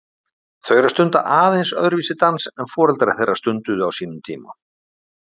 Þau eru að stunda aðeins öðruvísi dans en foreldrar þeirra stunduðu á sínum tíma?